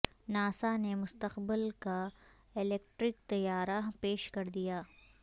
NASA نے مستقبل کا الیکٹرک طیارہ پیش کر دیا